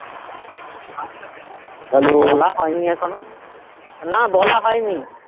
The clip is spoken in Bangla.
বলা হয় নি এখনো না বলা হয় নি